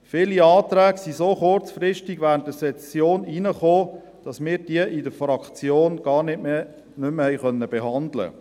Viele Anträge sind so kurzfristig während der Session eingegangen, sodass wir diese in der Fraktion gar nicht mehr behandeln konnten.